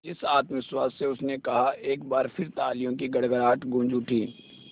जिस आत्मविश्वास से उसने कहा एक बार फिर तालियों की गड़गड़ाहट गूंज उठी